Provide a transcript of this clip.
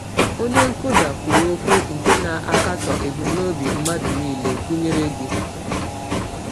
Onye nkwụda kwuru okwu nke na-akatọ ebumnobi mmadụ niile—gụnyere gị.